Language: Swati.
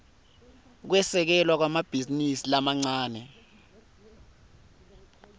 kwesekelwa kwemabhizinisi lamancane